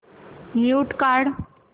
mute काढ